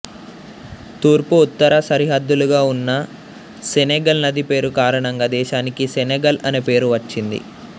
తూర్పు ఉత్తర సరిహద్దులుగా ఉన్న సెనెగల్ నది పేరు కారణంగా దేశానికి సెనగల్ అనే పేరు వచ్చింది